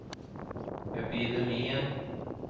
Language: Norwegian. epidemien